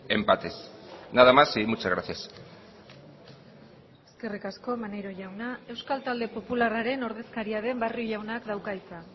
empates nada más y muchas gracias eskerrik asko maneiro jauna euskal talde popularraren ordezkaria den barrio jaunak dauka hitza